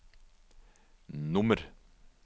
nummer